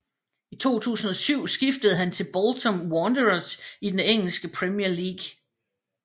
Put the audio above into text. I 2007 skiftede han til Bolton Wanderers i den engelske Premier League